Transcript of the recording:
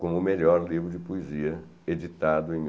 como melhor livro de poesia editado em mil